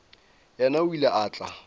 yena o ile a tla